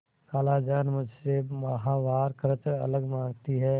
खालाजान मुझसे माहवार खर्च अलग माँगती हैं